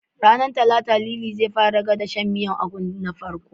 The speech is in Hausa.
Ranar Talata, Lili zai fara gwada shan miyar ganyen Ugu na farko.